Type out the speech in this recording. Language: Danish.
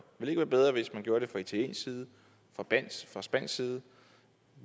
ikke være bedre hvis man gjorde det fra italiensk side fra spansk side